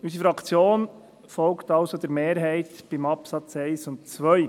Bei den Absätzen 1 und 2 folgt unsere Fraktion also der Mehrheit.